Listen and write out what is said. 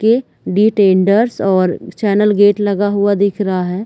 के डिटेंडर्स और चैनल गेट लगा हुआ दिख रहा है